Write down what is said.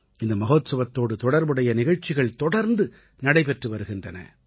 இந்த மஹோத்சவத்தோடு தொடர்புடைய நிகழ்ச்சிகள் தொடர்ந்து நடைபெற்று வருகின்றன